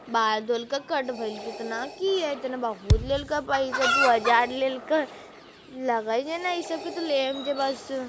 बाल धोल के कट भइलके कितना की ये इतना बहुत लेल के पइसा दू हज़ार लेल के लगई छै ने इ सब की ते लेम की बस।